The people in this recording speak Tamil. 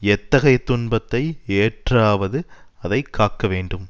எத்தகைய துன்பத்தை ஏற்றாவது அதை காக்க வேண்டும்